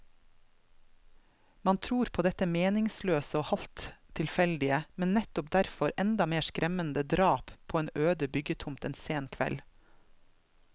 Man tror på dette meningsløse og halvt tilfeldige, men nettopp derfor enda mer skremmende drap på en øde byggetomt en sen kveld.